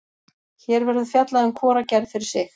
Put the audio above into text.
Hér verður fjallað um hvora gerð fyrir sig.